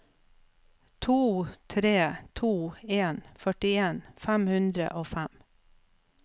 to tre to en førtien fem hundre og fem